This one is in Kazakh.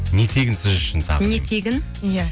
не тегін сіз үшін тағы не тегін иә